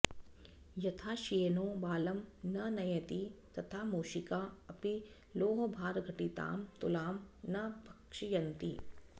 यथा श्येनो बालं न नयति तथा मूषिका अपि लोहभारघटितां तुलां न भक्षयन्ति